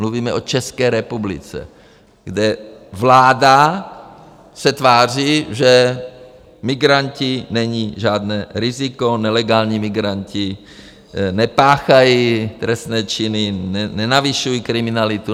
Mluvíme o České republice, kde vláda se tváří, že migranti nejsou žádné riziko, nelegální migranti nepáchají trestné činy, nenavyšují kriminalitu...